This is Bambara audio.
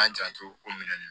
An janto o minɛn ninnu